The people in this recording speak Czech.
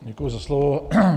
Děkuji za slovo.